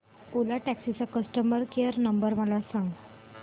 ओला taxi चा customer care number मला सांग